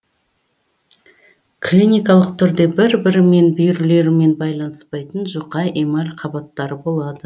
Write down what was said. клиникалық түрде бір бірімен бүйірлерімен байланыспайтын жұқа эмаль қабаттары болады